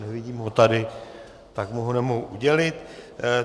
Nevidím ho tady, tak mu ho nemohu udělit.